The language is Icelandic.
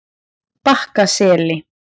Bakkaseli